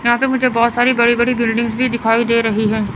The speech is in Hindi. यहां पे मुझे बहोत सारी बड़ी बड़ी बिल्डिंग्स भी दिखाई दे रही है।